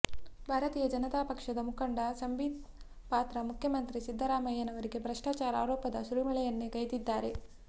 ಭಾರತೀಯ ಜನತಾ ಪಕ್ಷದ ಮುಖಂಡ ಸಂಬೀತ್ ಪಾತ್ರ ಮುಖ್ಯಮಂತ್ರಿ ಸಿದ್ದರಾಮಯ್ಯನವರಿಗೆ ಭ್ರಷ್ಟಾಚಾರ ಆರೋಪದ ಸುರಿಮಳೆಯನ್ನೇ ಗೈದಿದ್ದಾರೆ